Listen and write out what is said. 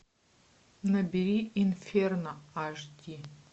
набери инферно аш ди